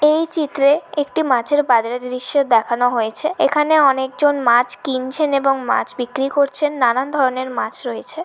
এই চিত্রে একটি মাছের বাজারের দৃশ্য দেখানো হয়েছে। এখানে অনেকজন মাছ কিনছেন এবং মাছ বিক্রি করছেন। নানান ধরনের মাছ রয়েছে।